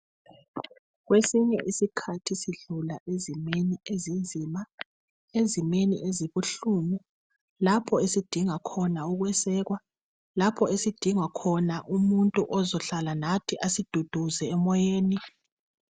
Kwesinye isikhathi sidlula ezimeni ezinzima, ezimeni ezibuhlungu lapho esidinga khona ukwesekwa, lapho sidinga khona umuntu ozahlala lathi asiduduze emoyeni.